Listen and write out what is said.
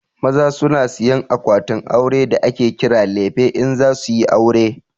Maza su na sayan akwatin aure da ake kira lefe in za suyi aure